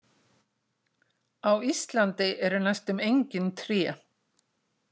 Á Íslandi eru næstum engin tré.